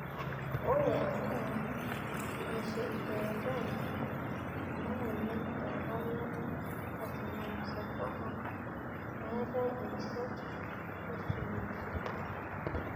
ore amu mesesh eetae ena moyian e ovarian carcinosarcoma, meetae isirat oosuji.